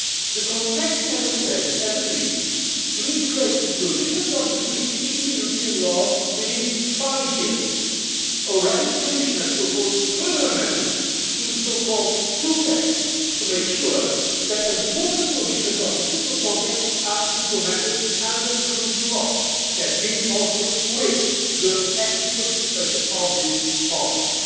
The contracting Member States have agreed to integrate the provisions of the Treaty into European Union law within five years. Already the Commission has proposed further amendments to the two pack' to make sure that important provisions of the fiscal compact are implemented under Community law that means also with the active participation of this Parliament.